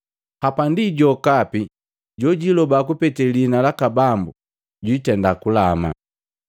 Hapandi, jokapi jojiiloba kupetee liina laka Bambu jwiitenda kulama.’ ”